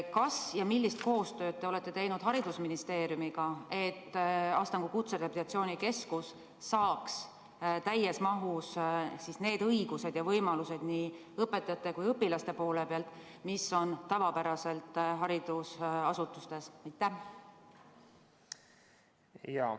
Kas ja millist koostööd te olete teinud haridusministeeriumiga, et Astangu Kutserehabilitatsiooni Keskus saaks nii õpetajatele kui ka õpilastele täies mahus need õigused ja võimalused, mis on tavapäraselt haridusasutustes?